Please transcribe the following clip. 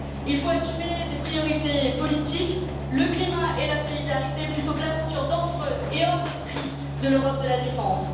Il faut fixer des priorités politiques le climat et la solidarité plutôt que l'aventure dangereuse et hors de prix de l'Europe de la défense.